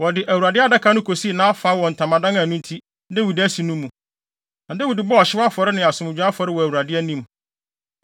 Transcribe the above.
Wɔde Awurade Adaka no kosii nʼafa wɔ ntamadan a ɛno nti, Dawid asi no mu, na Dawid bɔɔ ɔhyew afɔre ne asomdwoe afɔre wɔ Awurade anim.